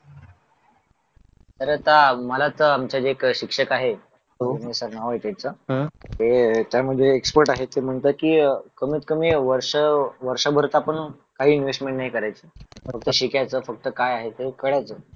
तर आता मला जे आमचे शिक्षक आहे उमेश सर नाव आहे त्यांचं हे त्यामध्ये एक्सपर्ट आहे आहेत ते म्हणतात की अह कमीत कमी वर्ष वर्षभर चा पण आपण काही इन्वेस्टमेंट नाही करायची फक्त शिकायचं फक्त काय आहे ते कळायचं